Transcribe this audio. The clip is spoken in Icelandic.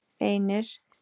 einir